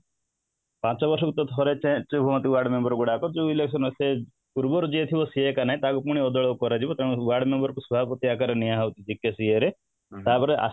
ପାଞ୍ଚ ବର୍ଷ ଭିତରେ ଥରେ change ହୁଅନ୍ତି ୱାର୍ଡମେମ୍ବର ଗୁଡାକ ଯୋଉ election ସେ ପୂର୍ବରୁ ଯିଏ ଥିବ ସିଏ ନାଇଁ ତାକୁ ଅଦଳ କରାଯିବ ତେଣୁ ୱାର୍ଡମେମ୍ବର କୁ ସଭାପତି ଆକାର ରେ ନିଆ ହଉଛି ବିକାଶ ଇୟେ ରେ ତାପରେ